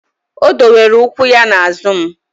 O dowere ụkwụ ya na azụ m